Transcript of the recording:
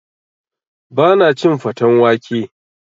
Ba na cin faten wake